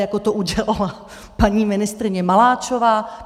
Jako to udělala paní ministryně Maláčová.